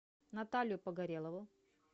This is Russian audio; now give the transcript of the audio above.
наталью погорелову